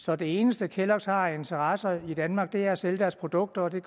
så det eneste kelloggs har af interesser i danmark er at sælge deres produkter og det